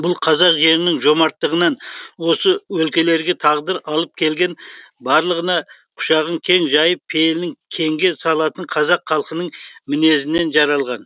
бұл қазақ жерінің жомарттығынан осы өлкелерге тағдыр алып келген барлығына құшағын кең жайып пейілін кеңге салатын қазақ халқының мінезінен жаралған